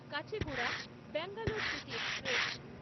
Kacheguda Bangalore city express